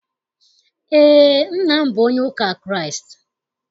Eé, nna m bụ onye ụka Kraịst.